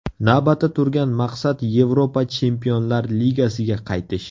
Navbatda turgan maqsad Yevropa Chempionlar Ligasiga qaytish.